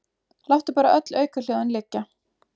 Láttu bara öll aukahljóðin liggja.